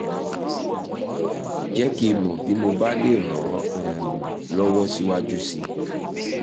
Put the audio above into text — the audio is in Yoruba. jẹ́ kí n mọ̀ bí mo bá lè ràn ọ́ um lọ́wọ́ síwájú sí i